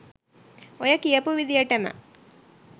ඔය කියපු විදියටම